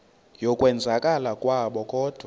yokwenzakala kwabo kodwa